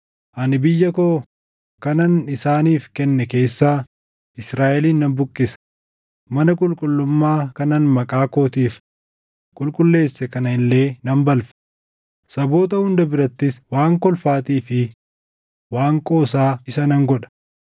ani biyya koo kanan isaaniif kenne keessaa Israaʼelin nan buqqisa; mana qulqullummaa kanan Maqaa kootiif qulqulleesse kana illee nan balfa; saboota hunda birattis waan kolfaatii fi waan qoosaa isa nan godha.